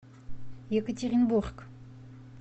екатеринбург